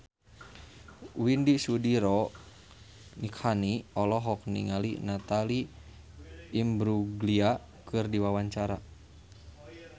Widy Soediro Nichlany olohok ningali Natalie Imbruglia keur diwawancara